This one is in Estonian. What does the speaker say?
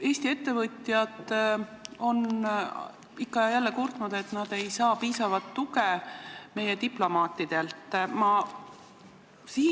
Eesti ettevõtjad on ikka ja jälle kurtnud, et nad ei saa meie diplomaatidelt piisavat tuge.